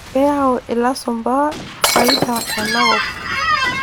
Keyau ilasumba faida enakop.